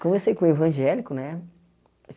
Convesei com o evangélico, né?